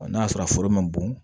n'a sɔrɔ foro man bon